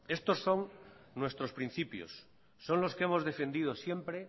estos son nuestros principios son los que hemos defendido siempre